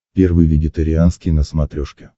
первый вегетарианский на смотрешке